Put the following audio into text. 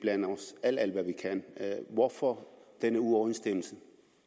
kan hvorfor den uoverensstemmelse